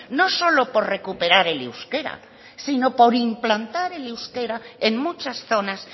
no solo por recuperar el euskera sino por implantar el euskera en muchas zonas